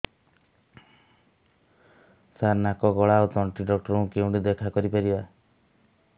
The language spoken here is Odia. ସାର ନାକ ଗଳା ଓ ତଣ୍ଟି ଡକ୍ଟର ଙ୍କୁ କେଉଁଠି ଦେଖା କରିପାରିବା